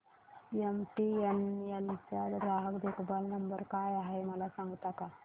MTNL चा ग्राहक देखभाल नंबर काय आहे मला सांगता का